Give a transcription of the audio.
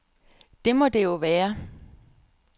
Det må det jo være.